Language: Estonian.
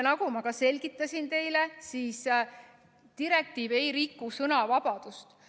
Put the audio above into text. Nagu ma teile selgitasin, siis direktiiv ei riku sõnavabadust.